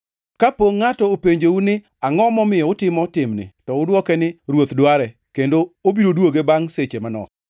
Kapo ngʼato openjou ni, ‘Angʼo momiyo utimo timni?’ To udwoke ni, ‘Ruoth dware, kendo obiro duoge bangʼ seche manok!’ ”